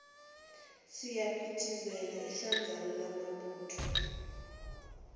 siyaphithizela idlanzana lamabutho